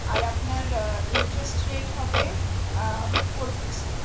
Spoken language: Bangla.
আর আপনার আহ interest rate হবে আহ four percent